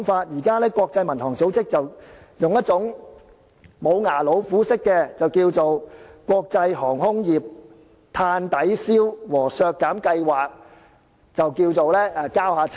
現時國際民航組織便是使用紙老虎式的方法，以"國際航空碳抵消和減排計劃"交差。